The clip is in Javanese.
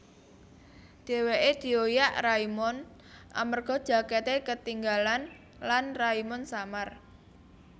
Dhèwèké dioyak Raimund amerga jakèté ketinggalan lan Raimund samar